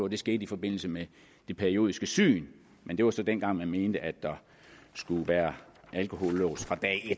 det skete i forbindelse med det periodiske syn men det var så dengang hvor socialdemokraterne mente at der skulle være alkohollås